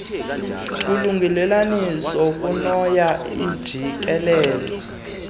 ukulungelelaniswa komoya ojikeleze